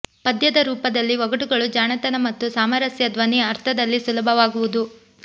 ಪದ್ಯದ ರೂಪದಲ್ಲಿ ಒಗಟುಗಳು ಜಾಣತನ ಮತ್ತು ಸಾಮರಸ್ಯ ಧ್ವನಿ ಅರ್ಥದಲ್ಲಿ ಸುಲಭವಾಗುವುದು